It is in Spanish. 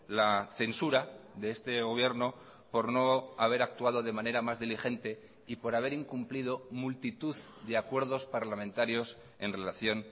la censura de este gobierno por no haber actuado de manera más diligente y por haber incumplido multitud de acuerdos parlamentarios en relación